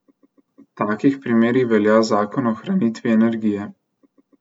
V takih primerih velja zakon o ohranitvi energije.